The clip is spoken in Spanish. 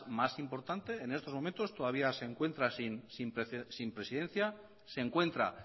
más importante en estos momentos todavía se encuentra sin presidencia se encuentra